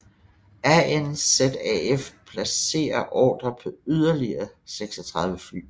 RNZAF placerede ordrer på yderligere 36 fly